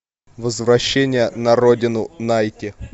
возвращение на родину найти